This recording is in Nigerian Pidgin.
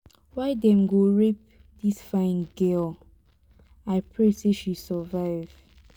why dem go rape dis fine girl. i pray say she survive.